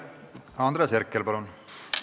Andres Herkel, palun!